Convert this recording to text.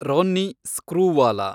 Ronnie Screwvala